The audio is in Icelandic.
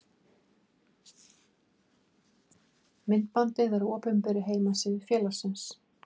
Myndbandið er á opinberri heimasíðu félagsins.